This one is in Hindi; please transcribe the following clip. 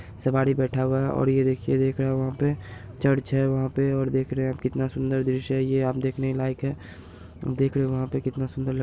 सवारी बैठा हुआ है और ये देखिये देख रहा है वहां पे चर्च है वहाँ पे और देख रहे है कितना सुंदर दृश्य है ये यहां देखने लायक है देख रहे है वहां पे कितना सुंदर लग --